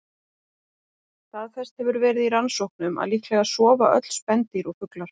Staðfest hefur verið í rannsóknum að líklega sofa öll spendýr og fuglar.